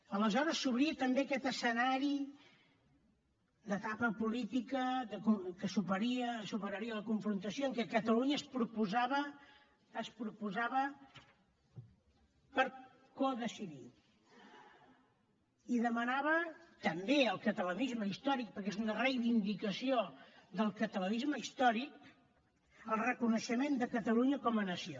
aleshores s’obria també aquest escenari d’etapa política que superaria la confrontació en què catalunya es proposava per codecidir i demanava també al catalanisme històric perquè és una reivindicació del catalanisme històric el reconeixement de catalunya com a nació